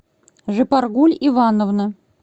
жыпаргуль ивановна